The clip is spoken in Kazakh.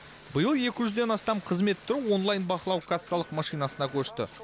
биыл екі жүзден астам қызмет түрі онлайн бақылау кассалық машинасына көшті